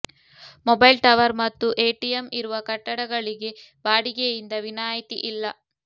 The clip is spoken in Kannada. ಮೊಬೈಲ್ ಟವರ್ ಮತ್ತು ಎಟಿಎಂ ಇರುವ ಕಟ್ಟಡಗಳಿಗೆ ಬಾಡಿಗೆಯಿಂದ ವಿನಾಯಿತಿ ಇಲ್ಲ